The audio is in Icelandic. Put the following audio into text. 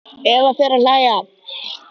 Eva fer að hlæja.